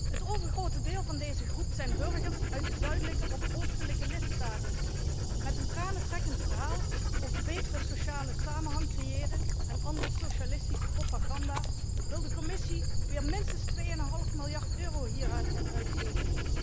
Het overgrote deel van deze groep zijn burgers uit de zuidelijke of oostelijke lidstaten. Met een tranentrekkend verhaal over 'betere sociale samenhang creëren' en andere socialistische propaganda, wil de Commissie weer minstens twee en een half miljard euro hieraan gaan uitgeven.